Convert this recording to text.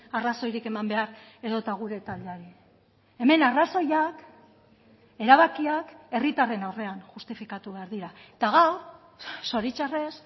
arrazoirik eman behar edota gure taldeari hemen arrazoiak erabakiak herritarren aurrean justifikatu behar dira eta gaur zoritxarrez